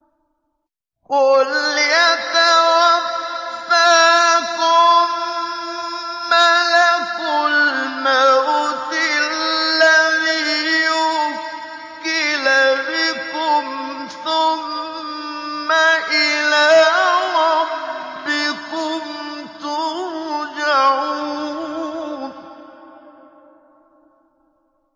۞ قُلْ يَتَوَفَّاكُم مَّلَكُ الْمَوْتِ الَّذِي وُكِّلَ بِكُمْ ثُمَّ إِلَىٰ رَبِّكُمْ تُرْجَعُونَ